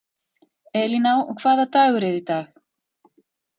Elíná, hvaða dagur er í dag?